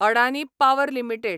Adani power limited